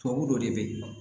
Tubabu dɔ de bɛ yen